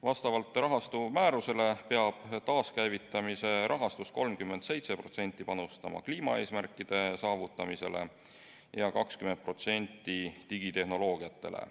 Vastavalt rahastu määrusele peab taaskäivitamise rahastust 37% panustama kliimaeesmärkide saavutamisele ja 20% digitehnoloogiatele.